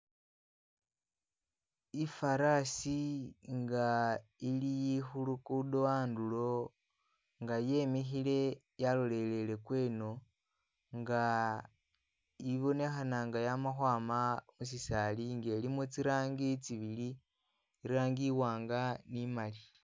Ifarasi nga ili khulugudo khandulo nga yemikhile yalolele gweno nga ibonekhana nga yama khwama mushisali nga ilimo zirangi zibili, irangi iwanga ni imali.